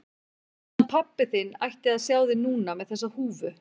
Hann pabbi þinn ætti að sjá þig núna með þessa húfu.